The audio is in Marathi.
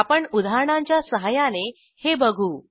आपण उदाहरणांच्या सहाय्याने हे बघू